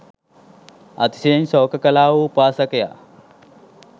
අතිශයින් ශෝක කළා වූ උපාසකයා,